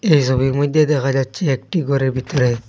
এই সবির মধ্যে দেখা যাচ্ছে একটি ঘরের ভিতরে--